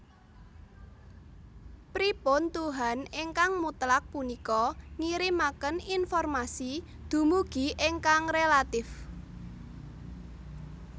Pripun tuhan ingkang mutlak punika ngirimaken informasi dumugi ingkang relatif